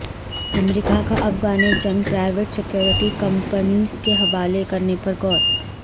امریکہ کا افغان جنگ private security companies کے حوالے کرنے پر غور